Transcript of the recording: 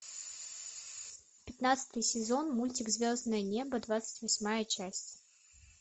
пятнадцатый сезон мультик звездное небо двадцать восьмая часть